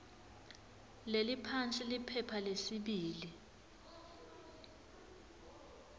leliphansi liphepha lesibili